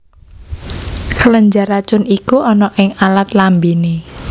Kelenjar racun iku ana ing alat lambéné